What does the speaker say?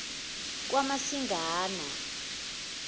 kamasingana